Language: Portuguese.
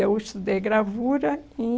Eu estudei gravura em...